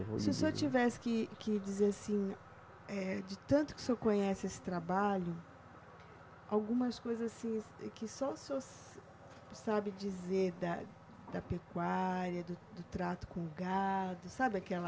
Se o senhor tivesse que que dizer assim, eh, de tanto que o senhor conhece esse trabalho, algumas coisas assim que só o senhor se, sabe dizer da da pecuária, do do trato com o gado, sabe aquela...